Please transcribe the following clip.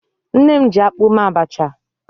Nne m jiakpụ mee abacha.